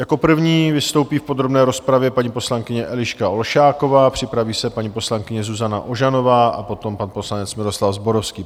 Jako první vystoupí v podrobné rozpravě paní poslankyně Eliška Olšáková, připraví se paní poslankyně Zuzana Ožanová a potom pan poslanec Miroslav Zborovský.